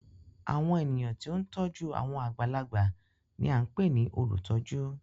Awọn ènìyàn tí o n tọju awọn àgbàlagbà ní a npè ní olutọju